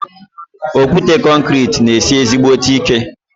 Okwute konkrete ná esi ezígbóté ike